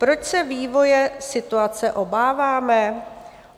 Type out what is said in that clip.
Proč se vývoje situace obáváme?